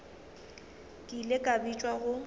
ke ile ka bitšwa go